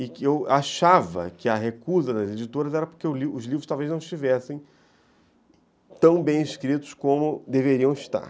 E eu achava que a recusa das editoras era porque os livros talvez não estivessem tão bem escritos como deveriam estar.